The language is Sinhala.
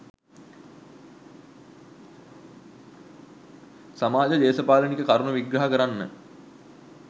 සමාජ දේශපාලනික කරුණු විග්‍රහ කරන්න